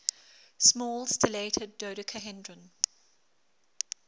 small stellated dodecahedron